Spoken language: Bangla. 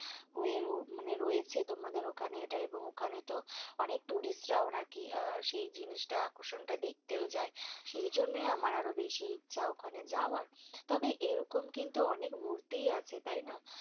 হয়ে র মানে রয়েছে তোমাদের ওখানে এটা এবং ওখানেতো অনেক tourist রাও নাকি আহ সেই জিনিসটা আকর্ষনটা দেখতেও যায়। সেইজন্যই আমার আরও বেশি ইচ্ছা ওখানে যাবার। তবে, এইরকম কিন্তু অনেক মূর্তিই আছে তাইনা